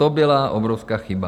To byla obrovská chyba.